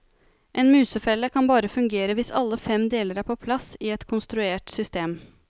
En musefelle kan bare fungere hvis alle fem deler er på plass i et konstruert system.